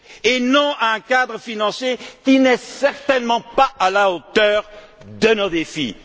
sérieux! Et non à un cadre financier qui n'est certainement pas à la hauteur de nos